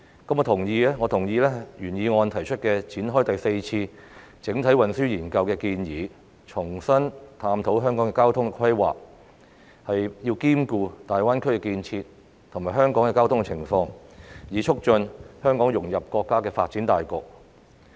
我同意原議案提出展開第四次整體運輸研究的建議，重新探討香港的交通規劃，兼顧大灣區建設及香港的交通情況，以促進香港融入國家的發展大局。